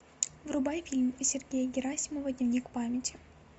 врубай фильм сергея герасимова дневник памяти